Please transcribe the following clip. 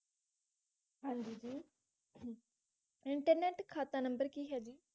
ਹਾਂਜੀ ਜੀ ਇੰਟਰਨੇਟ ਖਾਤਾ ਨੰਬਰ ਕੀ ਹੈ ਜੀ